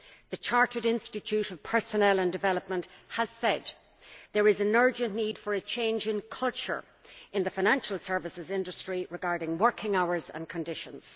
The Chartered Institute of Personnel and Development has said there is an urgent need for a change of culture in the financial services industry regarding working hours and conditions.